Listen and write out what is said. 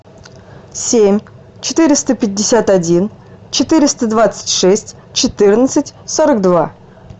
семь четыреста пятьдесят один четыреста двадцать шесть четырнадцать сорок два